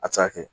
A ti se ka kɛ